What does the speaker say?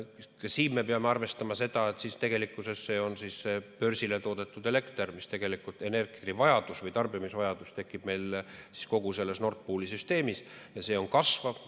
Ka siin me peame arvestama, et tegelikkuses on see börsile toodetud elekter, tegelikult elektrivajadus või tarbimisvajadus tekib meil kogu Nord Pooli süsteemis ja see on kasvav.